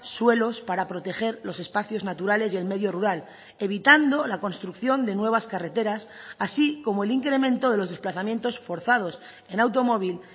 suelos para proteger los espacios naturales y el medio rural evitando la construcción de nuevas carreteras así como el incremento de los desplazamientos forzados en automóvil